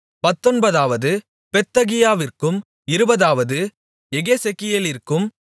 பத்தொன்பதாவது பெத்தகியாவிற்கும் இருபதாவது எகெசெக்கியேலிற்கும்